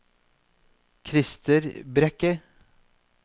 Krister Brekke